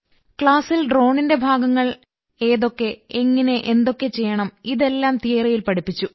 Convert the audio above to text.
ക്ലാസിൽ ഡ്രോണിന്റെ ഭാഗങ്ങൾ ഏതൊക്കെ എങ്ങനെ എന്തൊക്കെ ചെയ്യണം ഇതെല്ലാം തിയറിയിൽ പഠിപ്പിച്ചു